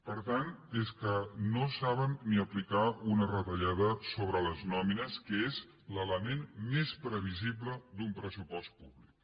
per tant és que no saben ni aplicar una retallada sobre les nòmines que és l’element més previsible d’un pressupost públic